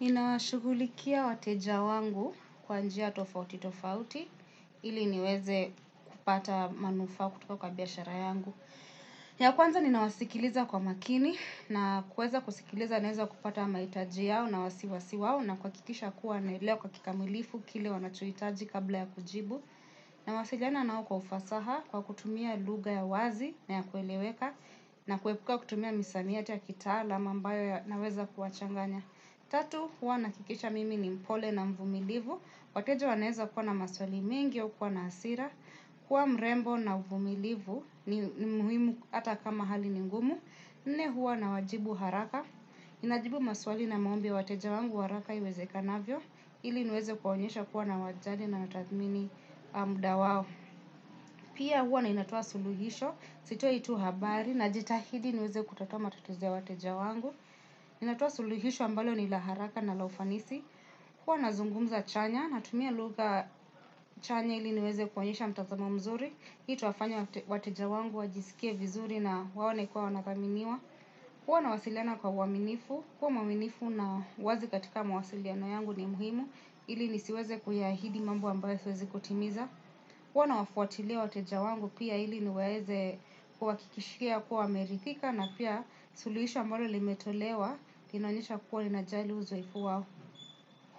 Nina washugulikia wateja wangu kwa njia tofauti tofauti, ili niweze kupata manufaa kutoka kwa biashara yangu. Ya kwanza ninawasikiliza kwa makini na kueza kusikiliza naweza kupata maitaji yao na wasiwasi wao na kuwakikisha kuwa nailewa kwa kikamilifu kile wanachoitaji kabla ya kujibu. Na wasiliana nao kwa ufasaha kwa kutumia lugha ya wazi na ya kueleweka na kuepuka kutumia misamiati ya kitala ama ambayo yanaweza kuwachanganya. Tatu, huwa nahakikisha mimi ni mpole na mvumilivu. Wateja wanaeza kuwa na maswali mengi au kuwa na asira. Kuwa mrembo na mvumilivu ni muhimu hata kama hali ningumu. Nne huwa na wajibu haraka ninajibu maswali na maombi ya wateja wangu haraka iwezekanavyo. Ili niweze kuwaonyesha kuwa na wajali na natathmini muda wao. Pia huwa na ninatoa suluhisho. Sitoi tu habari najitahidi nuweze kutatua matatizo wateja wangu. Ninatoa suluhisho ambalo ni la haraka na la ufanisi. Kuwa nazungumza chanya natumia lugha chanya ili niweze kuonyesha mtazamo mzuri. Itawafanya wateja wangu wajisikie vizuri na waone kwa wanathaminiwa huwa nawasiliana kwa uwaminifu, kuwa waminifu na wazi katika mawasiliano yangu ni muhimu. Ili nisiweze kuahidi mambu ambayo siwezi kutimiza huwa nawafuatilia wateja wangu pia ili niweze kuhakikishia kuwa wameridhika na pia sulihisho ambolo limetolewa, inaonyesha kuwa ninajali uzoefu wao.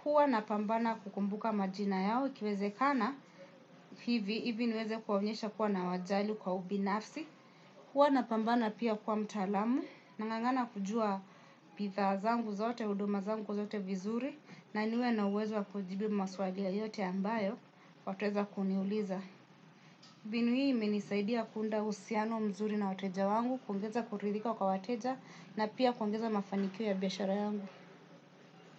Huwa napambana kukumbuka majina yao, ikiwezekana, hivi, hivi niweze kuwaonyesha kuwa nawajali kwa ubinafsi. Huwa napambana pia kuwa mtaalamu, nangangana kujua bidhaa zangu zote, huduma zangu zote vizuri, na niwe na uwezo wa kujibi maswali yoyote ambayo, wataweza kuniuliza. Binu hii imenisaidia kuunda uhusiano mzuri na wateja wangu, kuongeza kuridhika kwa wateja, na pia kuongeza mafanikio ya biyashara yangu.